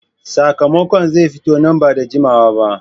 , sakamakon zai fito nan ba da jimawa ba